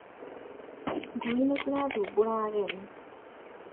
Ngui nĩcirathumbũra ageni